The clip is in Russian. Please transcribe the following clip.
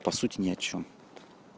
по сути ни о чём